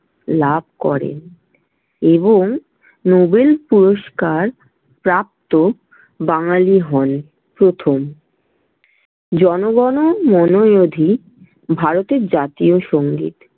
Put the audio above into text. লাভ করেন এবং নোবেল পুরস্কার প্রাপ্ত বাঙালি হন প্রথম। জন-গণ-মন-অধি ভারতের জাতীয় সংগীত।